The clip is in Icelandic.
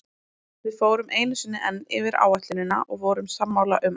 Við fórum einu sinni enn yfir áætlunina og vorum sammála um allt.